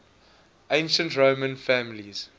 ancient roman families